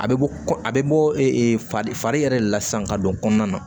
A bɛ bɔ a bɛ bɔ fari yɛrɛ de la sisan ka don kɔnɔna na